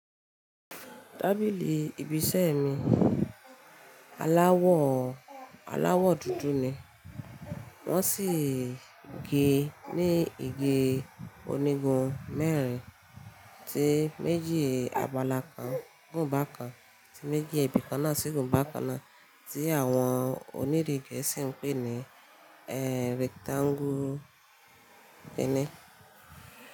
Tábìlì ibi iṣẹ́ mi aláwọ̀ dúdú ni, wọ́n sì gé ní ige onígun mẹ́rin, tí méjì àbàlá kan gùn bákan, tí méjì ibi kan náà sì gùn bákan náà, tí àwọn onírí Gẹ̀ẹ́sì ń pè ní rectangle.